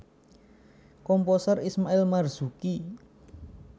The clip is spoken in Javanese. Komposer Ismail Marzuki